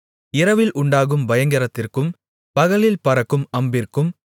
இரவில் உண்டாகும் பயங்கரத்திற்கும் பகலில் பறக்கும் அம்பிற்கும்